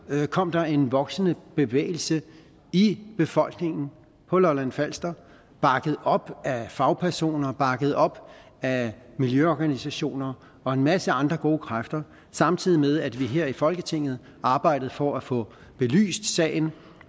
kom der en voksende bevægelse i befolkningen på lolland falster bakket op af fagpersoner og bakket op af miljøorganisationer og en masse andre gode kræfter samtidig med at vi her i folketinget arbejdede for at få belyst sagen